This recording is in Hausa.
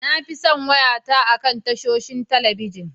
Na fi son wayata akan tashoshin talabijin.